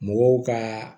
Mɔgɔw ka